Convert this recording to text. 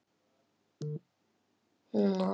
Arnleif, hvað er á áætluninni minni í dag?